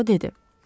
Puaro dedi.